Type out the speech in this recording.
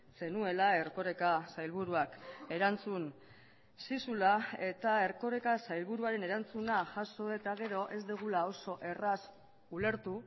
zenuela erkoreka sailburuak erantzun zizula eta erkoreka sailburuaren erantzuna jaso eta gero ez dugula oso erraz ulertu